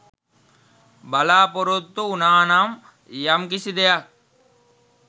බලාපොරොත්තු උනානම් යම් කිසි දෙයක්.